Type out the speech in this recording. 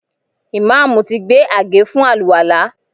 Ìmáàmù ti gbé àgé fún àlùwàlá